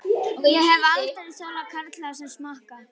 Ég hef aldrei þolað karla sem smakka.